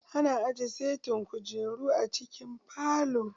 Ana aje setin kujeru a cikin falo.